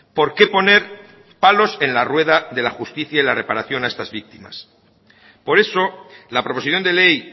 porqué poner palos en la rueda de la justicia y la reparación a estas víctimas por eso la proposición de ley